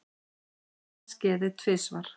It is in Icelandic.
Sama skeði tvisvar.